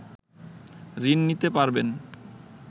ঋণ নিতে পারবেন